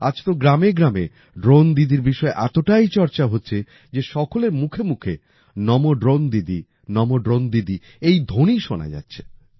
আজ তো গ্রামে গ্রামে ড্রোন দিদির বিষয়ে এতটাই চর্চা হচ্ছে যে সকলের মুখে মুখে নমো ড্রোন দিদি নমো ড্রোন দিদি এই ধ্বনি শোনা যাচ্ছে